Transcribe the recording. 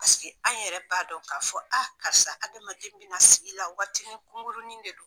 Paseke an yɛrɛ b'a dɔn ka fɔ a karisa hadamaden bɛna sigi la waati kunkuruni de don.